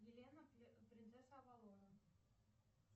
елена принцесса авалона